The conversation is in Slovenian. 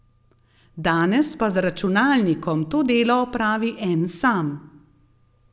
Danes pa z računalnikom to delo opravi en sam.